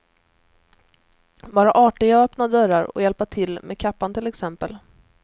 Vara artiga och öppna dörrar och hjälpa till med kappan till exempel.